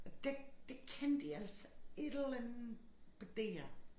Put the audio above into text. Og der der kan de altså et eller andet på DR